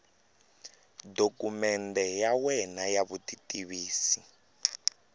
dokumende ya wena ya vutitivisi